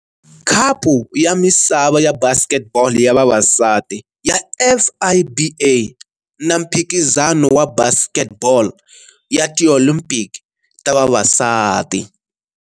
Khapu ya Misava ya Basketball ya Vavasati ya FIBA na Mphikizano wa Basketball ya Tiolimpiki ta Vavasati.